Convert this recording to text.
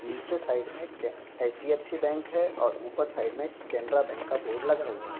नीचे साइड मे के एच.डी.एफ.सी. बैंक है और ऊपर साइड मे केनरा बैंक का बोर्ड लगा हुआ है।